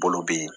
Bolo be yen